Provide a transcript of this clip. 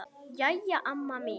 Jæja, mamma mín.